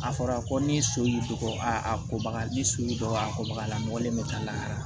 A fɔra ko ni so y'i dɔgɔ aa a kobaga ni so y'i dɔgɔ a ko baga la mɔgɔlen bɛ ka la